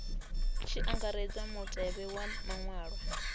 tshi angaredzwa mutevhe wa maṅwalwa